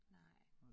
Nej